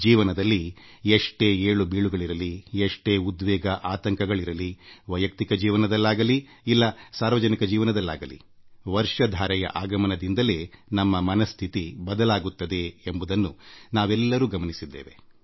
ಜೀವನದಲ್ಲಿ ಎಷ್ಟೇ ಒತ್ತಡ ಇರಲಿ ಎಷ್ಟೇ ಉದ್ವೇಗ ಆತಂಕಗಳಿರಲಿವೈಯಕ್ತಿಕ ಜೀವನದಲ್ಲಾಗಲಿ ಇಲ್ಲ ಸಾರ್ವಜನಿಕ ಜೀವನದಲ್ಲಾಗಲೀ ಮಳೆಯ ಆಗಮನ ಪ್ರತಿಯೊಬ್ಬರ ಸ್ಫೂರ್ತಿಯನ್ನು ಹೆಚ್ಚಿಸುತ್ತದೆ ಎಂಬುದನ್ನು ನಾವೆಲ್ಲರೂ ಗಮನಿಸಿದ್ದೇವೆ